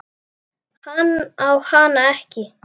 Hann á hana ekki.